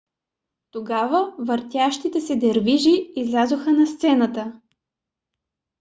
тогава въртящите се дервиши излязоха на сцената